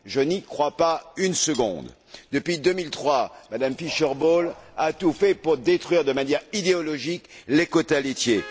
Je n'y crois pas une seconde! Depuis 2003, Mme Fischer Boel a tout fait pour détruire de manière idéologique les quotas laitiers.